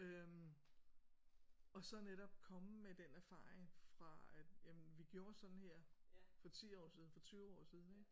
Øh og så netop komme med den erfaring fra at jamen vi gjorde sådan her for 10 år siden for 20 år siden ik